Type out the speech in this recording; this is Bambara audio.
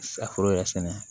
A foro yɛrɛ sɛnɛ